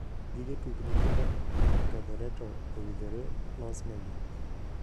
Gige tuk nyithindo ka okethore to owinjore losnegi.